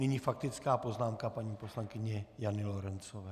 Nyní faktická poznámka paní poslankyně Jany Lorencové.